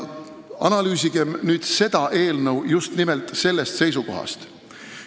Analüüsigem nüüd seda eelnõu just nimelt sellest seisukohast.